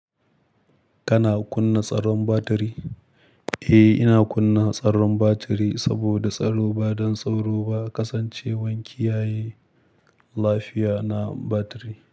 Kana kunna tsaron batiri? Eh, ina kunna tsaron batiri saboda tsaro. Ba don tsoro ba, kasancewar kiyaye lafiya na batiri.